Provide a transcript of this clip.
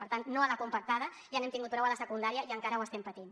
per tant no a la compactada ja n’hem tingut prou a la secundària i encara ho estem patint